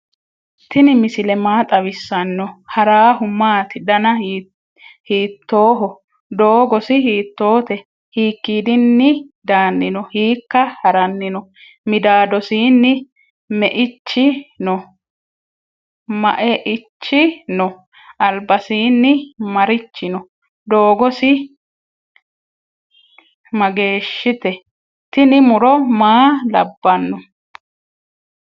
tini misile maa xawisano? harahu maati? dana hitroho? dogosi hittote? hikidini dani no ?hikka harani no?midadosini maeichi no?albasini marichi no?dogosi magwshitw? tini muro maa labano?